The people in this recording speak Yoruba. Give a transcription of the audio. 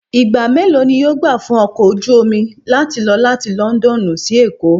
Ìgbà mélòó ni yóò gbà fún ọkọ̀ ojú omi láti lọ láti London sí Èkó?